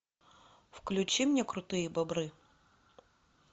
включи мне крутые бобры